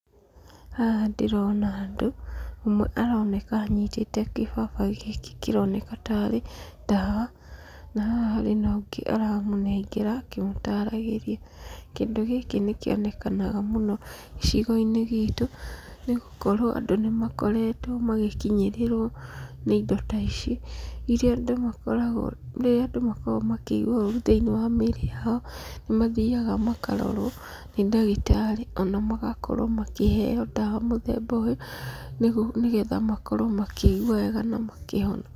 Haha ndĩrona andũ, ũmwe aroneka anyitĩte gĩbaba gĩkĩ kĩroneka tarĩ ndawa, na haha harĩ na ũngĩ aramũnengera akĩmũtaragĩrĩa. Kĩndũ gĩkĩ nĩ kĩonekanaga mũno gĩcigo-inĩ gitũ, nĩ gũkorwo andũ nĩ makoretwo magĩkinyĩrĩrwo nĩ indo ta ici, iria andũ makoragwo rĩrĩa andũ makoragwo makĩigwa ũru thĩinĩ wa mĩrĩ yao, nĩ mathiaga makarorwo nĩ ndagĩtarĩ ona magakorwo makĩheo ndawa mũthemba ũyũ, nĩgetha makorwo makĩigua wega na makĩhona.